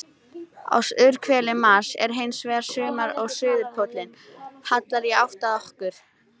Á suðurhveli Mars er hins vegar sumar og suðurpóllinn hallar í átt að okkar.